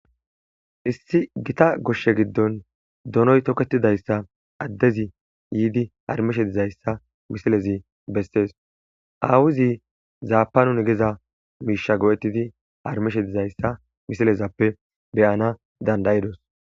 issi gita goshshe giddon donoy tokketidayssa addezi yiidi harmishe dizayssa misilezi bessees aawuzi zaapanun geza miisha go7ettidi harmishe dizayssa misilezappe beyana dandayidos